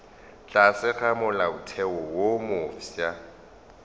tlase ga molaotheo wo mofsa